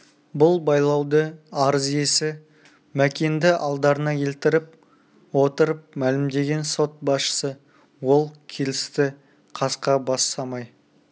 бұл байлауды арыз иесі мәкенді алдарына келтіріп отырып мәлімдеген сот басшысы ол келісті қасқа бас самай